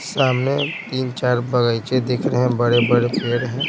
सामने तीन-चार बगाइचे दिख रहे हैं बड़े-बड़े पेड़ हैं।